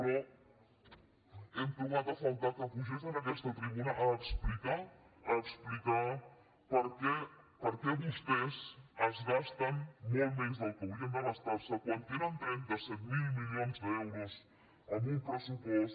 però hem trobat a faltar que pugés a aquesta tribuna a explicar a explicar per què vostès es gasten molt més del que haurien de gastar se quan tenen trenta set mil milions d’euros en un pressupost